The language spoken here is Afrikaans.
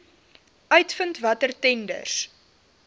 uitvind watter tenders